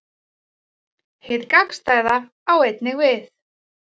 Hið gagnstæða á einnig við.